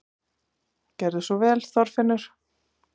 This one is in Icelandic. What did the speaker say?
Gerðu svo vel, Þorfinnur!